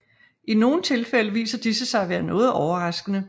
I nogle tilfælde viser disse sig at være noget overraskende